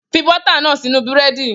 Fi bọ́tà náà sínú Búrẹ́dì!